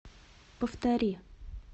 повтори